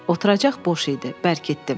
Oturacaq boş idi, bərkitdim.